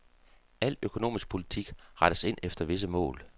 Al økonomisk politik rettes ind efter visse mål.